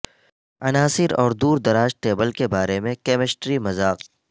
عناصر اور دور دراز ٹیبل کے بارے میں کیمسٹری مذاق